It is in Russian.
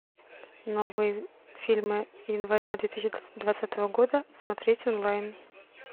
новые фильмы января две тысячи двадцатого года смотреть онлайн